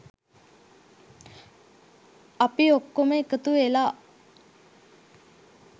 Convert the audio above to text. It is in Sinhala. අපි ඔක්කොම එකතුවෙලා